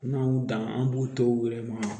N'an y'u dan an b'u to u yɛrɛ ma